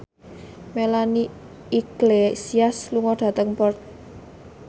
Melanie Iglesias lunga dhateng Perth